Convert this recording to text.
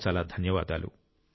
చాలా చాలా ధన్యవాదాలు